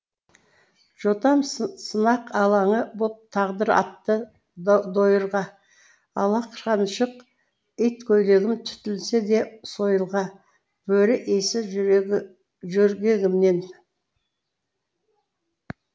жотам сынақ алаңы боп тағдыр атты дойырға алақаншық иткөйлегім түтілсе де сойылға бөрі иісі жөргегімнен